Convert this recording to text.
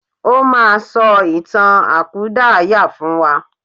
O máa sọ ìtàn àkúdàáyà fún wa.